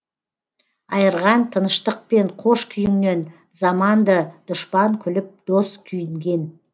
айырған тыныштық пен қош күйіңнен заманды дұшпан күліп дос күйінген